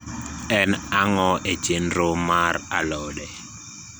en ang`o e chendro mar alode